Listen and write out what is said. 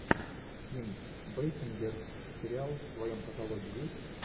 ким бейсингер сериал в твоем каталоге есть